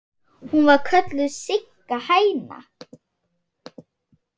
Hún var kölluð Sigga hæna.